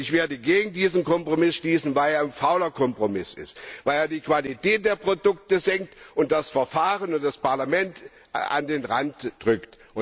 Ich werde gegen diesen Kompromiss stimmen, weil er ein fauler Kompromiss ist, weil er die Qualität der Produkte senkt und das Verfahren und das Parlament an den Rand drückt.